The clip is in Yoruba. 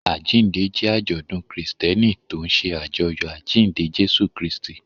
Àjíǹde jẹ́ àjọ̀dún Kristẹni tó ń ṣe àjọyọ̀ àjíǹde Jésù Kristi.